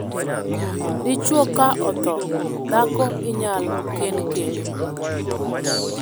Dichwo ka othoo, dhako inyal kend kendo.